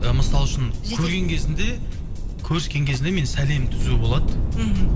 ы мысалы үшін көрген кезінде көріскен кезінде менің сәлемім түзу болады мхм